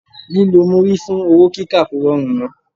Lílọ múrí fún owó kíkà kò rọrùn mọ́.